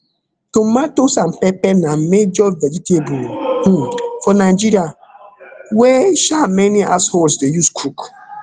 tomatoes and pepper na major vegetable um for nigeria wey um many households dey use cook